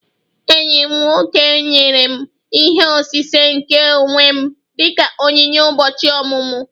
Enyi m nwoke nyere m ihe osise nke onwe m dị ka onyinye ụbọchị ọmụmụ